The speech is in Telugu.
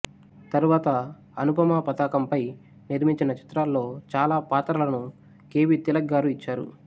తరువాత అనుపమ పతాకంపై నిర్మించిన చిత్రాల్లో చాలా పాత్రలను కె బి తిలక్ గారు ఇచ్చారు